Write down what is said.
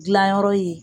Gilan yɔrɔ ye